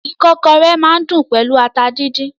Ìkọ́kọrẹ́ máa n dùn pẹlú ata díndín.